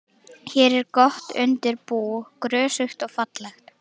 Hér er gott undir bú, grösugt og fallegt.